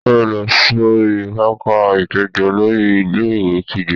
Sáré lọ sori pápá-ìpéjọ! Olórí ilé-ìwé kígbe.